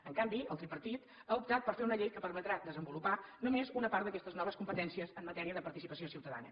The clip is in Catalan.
en canvi el tripartit ha optat per fer una llei que permetrà desenvolupar només una part d’aquestes noves competències en matèria de participació ciutadana